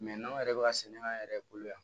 n'anw yɛrɛ bɛ ka sɛnɛ an yɛrɛ bolo yan